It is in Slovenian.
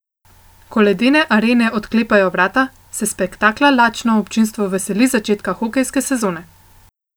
Ko ledne arene odklepajo vrata, se spektakla lačno občinstvo veseli začetka hokejske sezone.